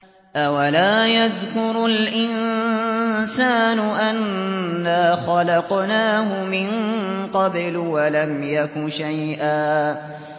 أَوَلَا يَذْكُرُ الْإِنسَانُ أَنَّا خَلَقْنَاهُ مِن قَبْلُ وَلَمْ يَكُ شَيْئًا